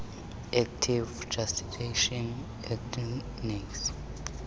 native jurisdiction ordinance